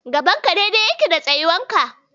Gaban ka dai-dai yake da tsawonka.